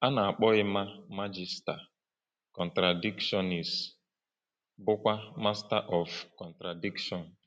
A na-akpọ Emma Magister Contradictionis, bụ́kwa Master of Contradiction.